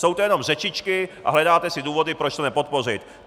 Jsou to jenom řečičky a hledáte si důvody, proč to nepodpořit.